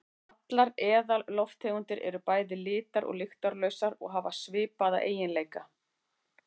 Allar eðallofttegundir eru bæði litar- og lyktarlausar og hafa svipaða eiginleika.